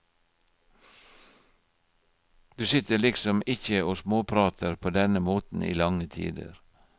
Du sitter liksom ikke og småprater på denne måten i lange tider.